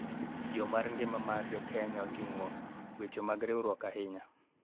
Yo mar ngima mar jo Kenya oting'o weche mag riwruok ahinya